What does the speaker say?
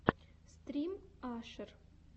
стрим ашер